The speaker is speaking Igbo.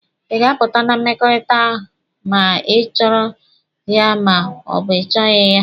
Ị ga-apụta na mmekọrịta ma ị chọrọ ya ma ọ bụ ị chọghị ya!